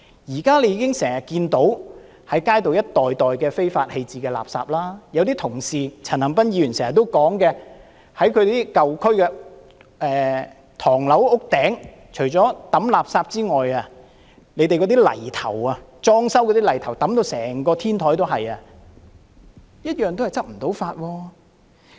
現在經常看到街上一袋一袋被非法棄置的垃圾，例如陳恒鑌議員經常說，舊區的唐樓天台除了有被丟棄的垃圾外，裝修泥頭也放滿整個天台，當局卻無法執法。